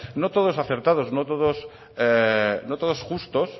no todos acertados no todos justos